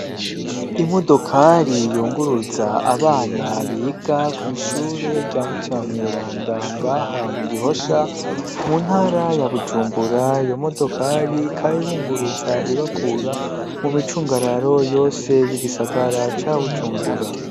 imodokari yunguruza abana biga kw,ishure rya mutima mweranda ngaha mu gihosha mu ntara ya bujumbura iyo modokari ikaba ibunguruza ibakura mu micungararo yose y'igisagara ca bujumbura